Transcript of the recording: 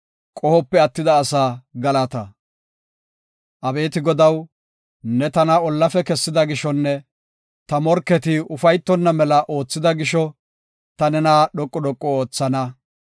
Abeeti Godaw, ne tana ollafe kessida gishonne ta morketi ufaytonna mela oothida gisho, ta nena dhoqu dhoqu oothana.